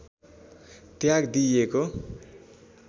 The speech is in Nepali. त्याग दिइएको